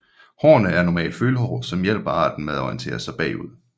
Hårene er normalt følehår som hjælper arten med at orientere sig bagud